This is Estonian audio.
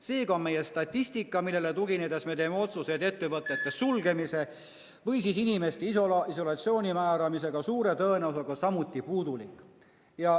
Seega on meie statistika, millele tuginedes me teeme otsuseid ettevõtete sulgemise ja inimeste isolatsiooni määramise kohta, suure tõenäosusega samuti puudulik.